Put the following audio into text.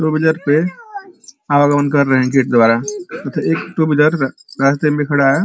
दो हजार पे टू व्हीलर रास्ते में खड़ा है।